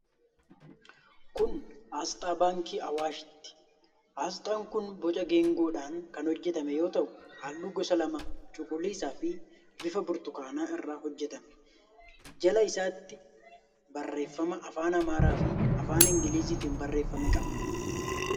Kun aasxaa Baankii Awaashiiti. Aasxaan kun boca geengoodhaan kan hojjetame yoo ta'u, halluu gosa lama: cuquliisaa fi bifa burtukaanaa irraa hojjetame. Jala isaatti barreeffama afaan Amaaraa fi afaan Ingiliziitiin barreeffame qaba.